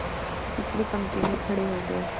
पिछली पंक्ति में खड़े हो गए